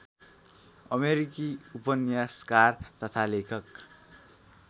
अमेरिकी उपन्यासकार तथा लेखक